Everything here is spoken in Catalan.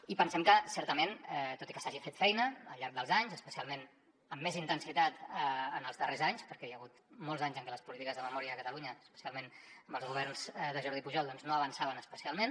i pensem que certament tot i que s’hagi fet feina al llarg dels anys especialment amb més intensitat en els darrers anys perquè hi ha hagut molts anys en què les polítiques de memòria a catalunya especialment amb els governs de jordi pujol doncs no avançaven especialment